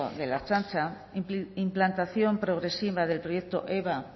de la ertzaintza implantación progresiva del proyecto eba